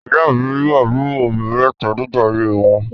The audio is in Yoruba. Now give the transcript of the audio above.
Ìyá-ìy mi ní àbúrò obìnrin mẹ́ta nígbà ayé wọn.